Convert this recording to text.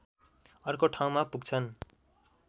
अर्को ठाउँमा पुग्छन्